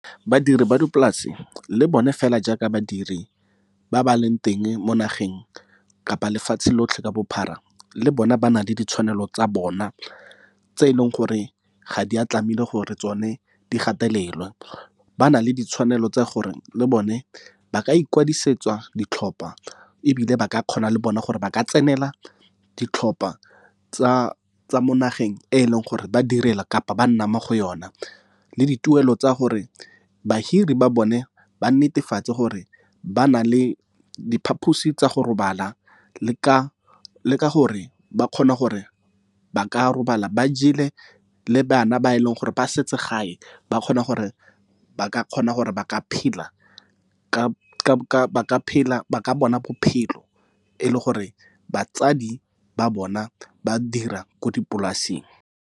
Badiri ba dipolase le bone fela jaaka badiri ba ba leng teng mo nageng kapa lefatshe lotlhe ka bophara, le bona ba na le ditshwanelo tsa bona tse e leng gore ga di a tlamehile gore tsone di gatelelwe. Ba na le ditshwanelo tsa gore le bone ba ka ikwadisetsa ditlhopa ebile ba ka kgona le bona gore ba ka tsenela ditlhopa, tsa mo nageng e leng gore ba direla kapa ba nna mo go yona. Le dituelo tsa gore bahiri ba bone ba netefatse gore ba na le diphaphosi tsa go robala, le ka ka gore ba kgona gore ba ka robala ba jele le bana ba e leng gore ba setse gae, ba kgona gore ba ka kgona gore ba ka phela ba ka bona bophelo e le gore batsadi ba bona ba dira ko dipolaseng.